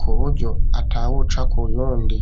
ku buryo atawuca kuyundi